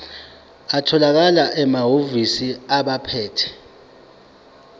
atholakala emahhovisi abaphethe